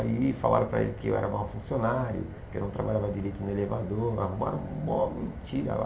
Aí falaram para ele que eu era mau funcionário, que eu não trabalhava direito no elevador, arrumaram uma mentira lá.